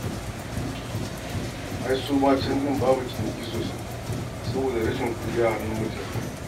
Ai su ma can ɗin babu ciniki sosai saboda rashin kuɗi a hannun mutane.